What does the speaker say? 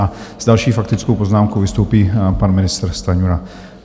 A s další faktickou poznámkou vystoupí pan ministr Stanjura.